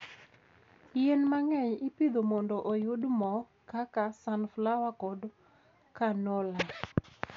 Yien mang'eny ipidho mondo oyud mo, kaka sunflower kod canola.